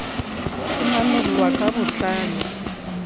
se manollwa ka bo tlalo